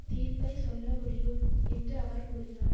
தீர்ப்பைச் சொல்ல முடியும் என்று அவர் கூறினார்